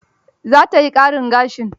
Za ta yi ƙarin gashin?